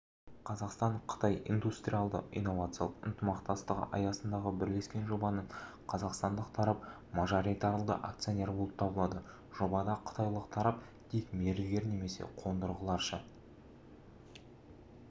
қазақстан-қытай индустралды-инновациялық ынтымақтастығы аясындағы бірлескен жобаның қазақстандық тарап мажоритарлы акционер болып табылады жобада қытайлық тарап тек мердігер немесе қондырғыларша